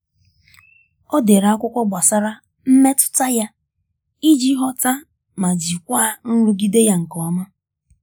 O dere akwụkwọ gbasara mmetụta ya iji ghọta ma jikwaa nrụgide ya nke ọma.